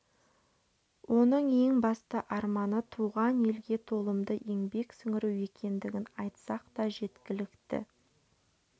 оның ең басты арманы туған елге толымды еңбек сіңіру екендігін айтсақ та жеткілікті